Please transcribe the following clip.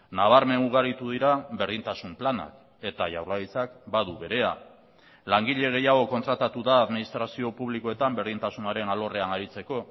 nabarmen ugaritu dira berdintasun planak eta jaurlaritzak badu berea langile gehiago kontratatu da administrazio publikoetan berdintasunaren alorrean aritzeko